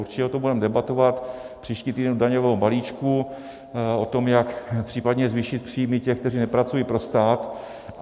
Určitě o tom budeme debatovat příští týden k daňovému balíčku, o tom, jak případně zvýšit příjmy těch, kteří nepracují pro stát.